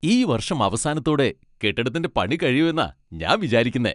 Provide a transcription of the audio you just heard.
ഈ വർഷം അവസാനത്തോടെ കെട്ടിടത്തിന്റെ പണി കഴിയുമെന്നാ ഞാൻ വിചാരിക്കുന്നെ.